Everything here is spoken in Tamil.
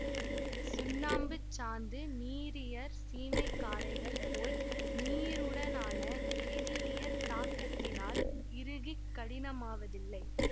சுண்ணாம்புச் சாந்து நீரியற் சீமை காரைகள் போல் நீருடனான வேதியியற் தாக்கத்தினால் இறுகிக் கடினமாவதில்லை